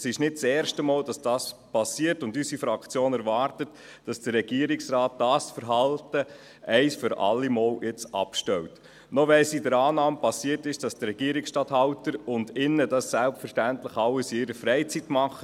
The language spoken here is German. Es ist nicht das erste Mal, dass dies geschieht, und unsere Fraktion erwartet, dass der Regierungsrat dieses Verhalten ein für alle Mal abstellt, selbst wenn es in der Annahme geschehen ist, dass die Regierungsstatthalterinnen und Regierungsstatthalter dies selbstverständlich alles in ihrer Freizeit tun.